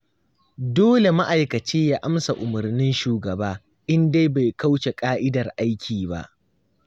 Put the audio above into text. Dole ma'aikaci ya amsa umarnin shugaba, in dai bai kauce ƙa'idar aiki ba.